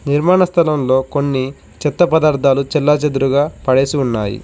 నిర్మాణ స్థలంలో కొన్ని చెత్త పదార్థాలు చెల్లాచెదురుగా పడేసి ఉన్నాయి.